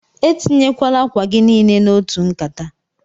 Etinyekwala akwa gi nile n'otu nkata!